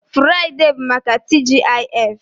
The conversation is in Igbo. Furaidee bụ maka TGIF